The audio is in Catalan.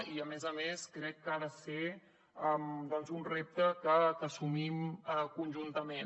i a més a més crec que ha de ser doncs un repte que assumim conjuntament